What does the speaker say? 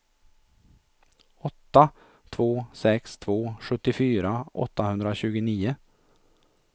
åtta två sex två sjuttiofyra åttahundratjugonio